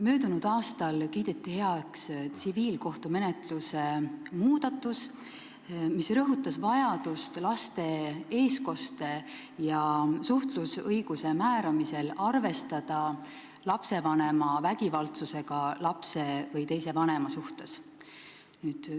Möödunud aastal kiideti heaks tsiviilkohtumenetluse muudatus, mille tegemisel rõhutati vajadust laste eestkoste ja suhtlusõiguse määramisel arvestada lapsevanema vägivaldsusega lapse või teise vanema suhtes.